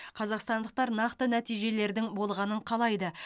қазақстандықтар нақты нәтижелердің болғанын қалайды